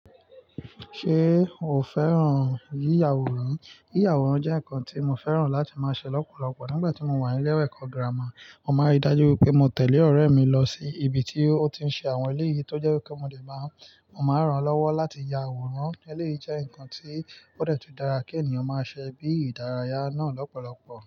Ṣé o fẹ́ràn yíya àwòrán? Yíya àwòrán jẹ́ nǹkan tí mo fẹ́ràn láti máa ṣe lọ́pọ̀lọpọ̀. Nígbà tí mo wà ní ilé ẹ̀kọ́ gírámà, mo máa ń rí dájú pé mo tẹ̀lé ọ̀rẹ́ mi lọ sí ibi tí ó ti ń ṣe àwọn elé yìí tó jẹ́ pe mo lè máa, mo máa ràn lọ́wọ́ láti ya àwòrán. Ele yìí jẹ́ ǹkan tí ó de tun dára kí ènìyàn máa ṣe bí ìdárayá náà lọ́pọ̀lọpọ̀.